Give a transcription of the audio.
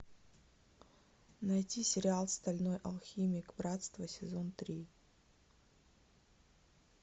найти сериал стальной алхимик братство сезон три